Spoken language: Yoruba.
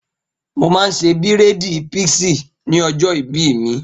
Mo máa ṣe bírèèdì píísì ní ọjọ́ ìbí mi